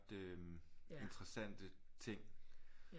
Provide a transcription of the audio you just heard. Interessante ting